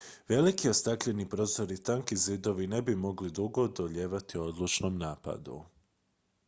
veliki ostakljeni prozori i tanki zidovi ne bi mogli dugo odolijevati odlučnom napadu